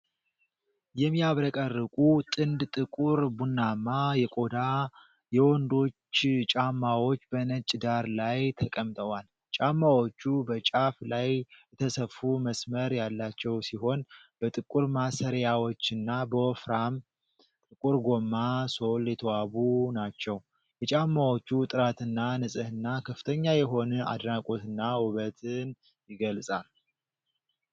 የሚያብረቀርቁ ጥንድ ጥቁር ቡናማ የቆዳ የወንዶች ጫማዎች በነጭ ዳራ ላይ ተቀምጠዋል። ጫማዎቹ በጫፍ ላይ የተሰፋ መስመር ያላቸው ሲሆን፣ በጥቁር ማሰሪያዎችና በወፍራም ጥቁር ጎማ ሶል የተዋቡ ናቸው። የጫማዎቹ ጥራትና ንጽህና ከፍተኛ የሆነ አድናቆትንና ውበትን ይገልጻል።